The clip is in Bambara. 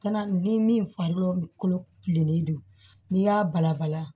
Kana ni min farikolo kilennen don n'i y'a balabala